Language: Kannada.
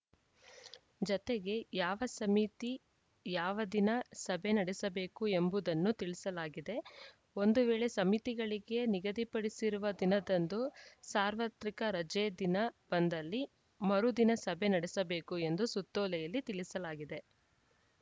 ಜತೆಗೆ ಯಾವ ಸಮಿತಿ ಯಾವ ದಿನ ಸಭೆ ನಡೆಸಬೇಕು ಎಂಬುದನ್ನೂ ತಿಳಿಸಲಾಗಿದೆ ಒಂದು ವೇಳೆ ಸಮಿತಿಗಳಿಗೆ ನಿಗದಿಪಡಿಸಿರುವ ದಿನದಂದು ಸಾರ್ವತ್ರಿಕ ರಜೆ ದಿನ ಬಂದಲ್ಲಿ ಮರು ದಿನ ಸಭೆ ನಡೆಸಬೇಕು ಎಂದು ಸುತ್ತೋಲೆಯಲ್ಲಿ ತಿಳಿಸಲಾಗಿದೆ